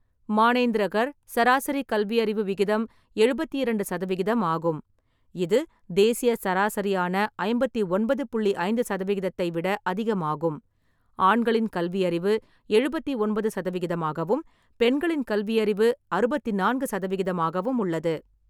மானேந்திரகர் சராசரி கல்வியறிவு விகிதம் எழுபத்தி இரண்டு சதவிகிதம் ஆகும், இது தேசிய சராசரியான ஐம்பத்தி ஒன்பது புள்ளி ஐந்து சதவிகிதத்தை விட அதிகமாகும்; ஆண்களின் கல்வியறிவு எழுபத்தி ஒன்பது சதவிகிதம் ஆகவும், பெண்களின் கல்வியறிவு அறுபத்தி நான்கு சதவிகிதமாகவும் உள்ளது.